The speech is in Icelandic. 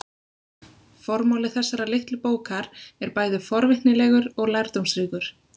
Formáli þessarar litlu bókar er bæði forvitnilegur og lærdómsríkur.